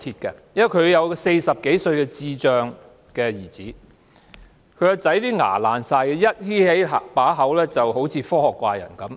她有一個40多歲的智障兒子，他的牙齒全都壞掉，一張開口便好像科學怪人般。